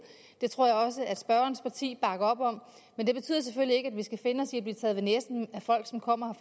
det tror jeg også at spørgerens parti bakker op om men det betyder selvfølgelig ikke at vi skal finde os i at blive taget ved næsen af folk som kommer